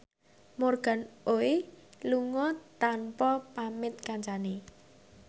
Morgan Oey lunga tanpa pamit kancane